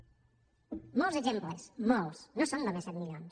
molts exemples molts no són només set milions